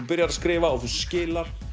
byrjar að skrifa og þú skilar